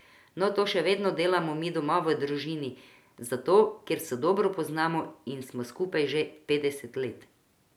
No, to še vedno delamo mi doma v družini, a zato, ker se dobro poznamo in smo skupaj že petdeset let.